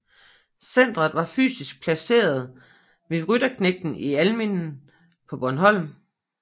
Centeret var fysisk placeret ved Rytterknægten i Almindingen på Bornholm